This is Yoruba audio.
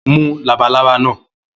Mú labalába náà!